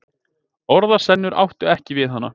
Orðasennur áttu ekki við hana.